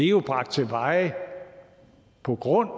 jo er bragt til veje på grund